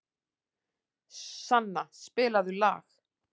Sanna, spilaðu lag.